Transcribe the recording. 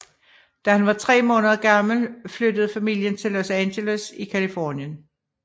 Da han var tre måneder gammel flyttede familien til Los Angeles i Californien